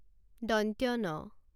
ন